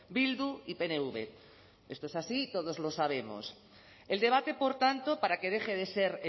bildu y pnv esto es así y todos lo sabemos el debate por tanto para que deje de ser